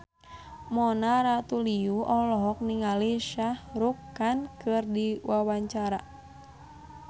Mona Ratuliu olohok ningali Shah Rukh Khan keur diwawancara